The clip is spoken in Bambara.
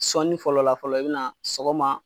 Sɔni fɔlɔ la fɔlɔ i be na sɔgɔma